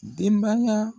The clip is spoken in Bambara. Denbaya